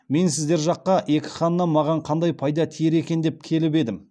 мен сіздер жаққа екі ханнан маған қандай пайда тиер екен деп келіп едім